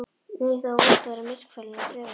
Nei, það er vont að vera myrkfælinn og draughræddur.